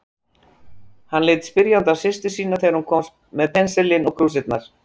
Hann leit spyrjandi á systur sína þegar hún kom með pensilinn og krúsirnar.